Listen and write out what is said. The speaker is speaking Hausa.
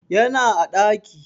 Yana a ɗaki